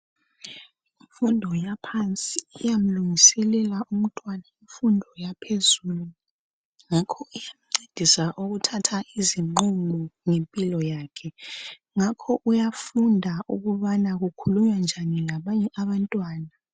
Imfundo yaphansi iyamlungiselela umtwana kumfundo yaphezulu, ngakho iyancedisa ukuthatha izinqumo ngempilo yakhe, njalo uyafunda ukubana kukhulunywa njani labanye abantwana.